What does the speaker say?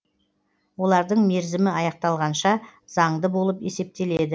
олардың мерзімі аяқталғанша заңды болып есептеледі